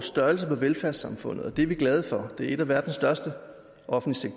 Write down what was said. størrelsen på velfærdssamfundet og det er vi glade for det er en af verdens største offentlige